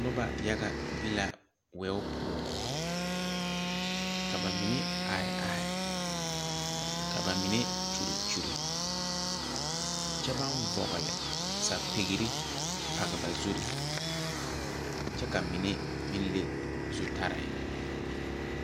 Nuba yaga be la wei pou ka ba mene arẽ arẽ ka ba mene kyuli kyuli kye bang vɔgli sapiire pag ba zuree kye ka mene meng le zu tare.